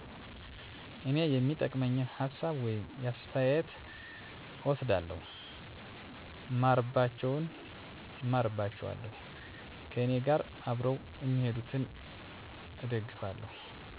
እኔ የሚጠቅመኝን ሀሳብ ወይም አስተያተት እወስዳለሁ እማርባቸውን እማርባቸዋለሁ ከእኔጋር አብረው እሚሄዱትን እደግፋለሁ።